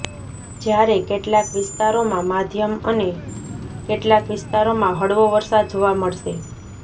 જ્યારે કેટલાક વિસ્તારોમાં માધ્યમ અને કેટલાક વિસ્તારોમાં હળવો વરસાદ જોવા મળશે